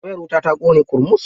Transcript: Wayar wutar ta ƙone ƙurmus.